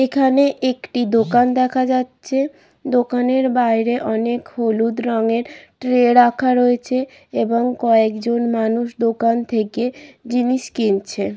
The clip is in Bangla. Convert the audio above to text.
এখানে একটি দোকান দেখা যাচ্ছে। দোকানের বাইরে অনেক হলুদ রঙের ট্রে রাখা রয়েছে এবং কয়েকজন মানুষ দোকান থেকে জিনিস কিনছে।